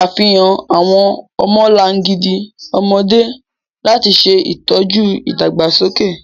Ṣafihan awọn ọmọlangidi ọmọde lati ṣe itọju idagbasoke.